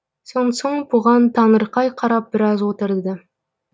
сонсоң бұған таңырқай қарап біраз отырды